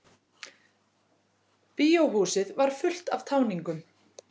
Bíóhúsið var fullt af táningum.